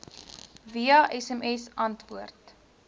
via sms antwoord